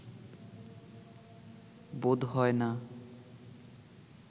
বোধ হয় না